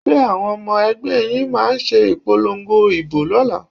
Ṣé àwọn ọmọ ẹgbẹ́ yín máa ṣe ìpolongo ìbò lọ́la?